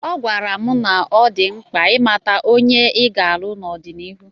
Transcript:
Agwara m na ọ dị mkpa ịmata onye ọ ga-alụ n'ọdịnihu.